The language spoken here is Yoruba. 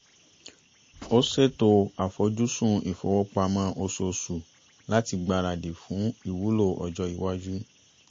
o ṣeto afojusin ifowopamọ osoosu lati gbaradi fun iwulo ọjọ iwaju